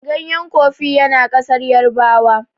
ganyen kofi ya na kasar yarabawa